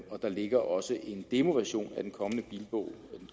og der ligger også en demoversion af den